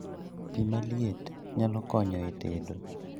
Pii maliet nyalo konyo e tedo